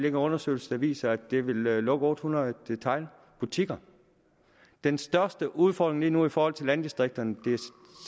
en undersøgelse der viser at det vil lukke otte hundrede detailbutikker den største udfordring lige nu i forhold til landdistrikterne er